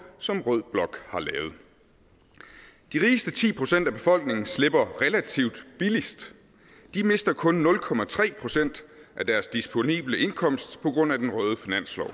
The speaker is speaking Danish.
som rød blok har lavet de rigeste ti procent af befolkningen slipper relativt billigst de mister kun nul procent af deres disponible indkomst på grund af den røde finanslov